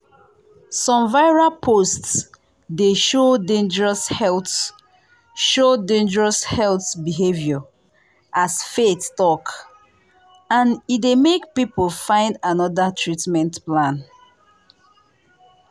some viral post dey show dangerous health show dangerous health behavior as faith talk and e dey make people find another treatment plan.